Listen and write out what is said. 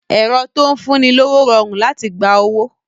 Ẹ̀rọ tó ń fún ni lówó rọrùn láti gba owó